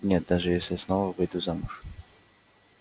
нет даже если снова выйду замуж